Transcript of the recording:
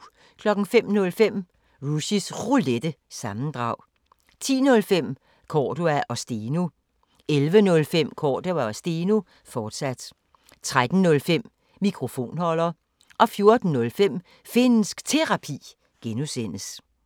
05:05: Rushys Roulette – sammendrag 10:05: Cordua & Steno 11:05: Cordua & Steno, fortsat 13:05: Mikrofonholder 14:05: Finnsk Terapi (G)